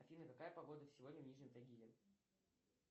афина какая погода сегодня в нижнем тагиле